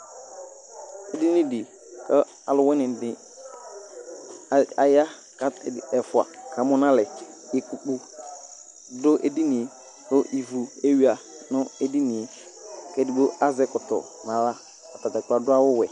edini di kò alowini di aya k'ɛfua kamo n'alɛ ikpoku do edinie kò ivu ewia no edinie k'edigbo azɛ ɛkɔtɔ n'ala atadza kplo ado awu wɛ